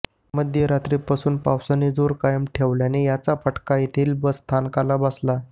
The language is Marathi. मध्यरात्रीपासून पावसाने जोर कायम ठेवल्याने याचा फटका येथील बसस्थानकाला बसला